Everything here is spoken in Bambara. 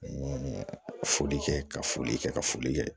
N ye foli kɛ ka foli kɛ ka foli kɛ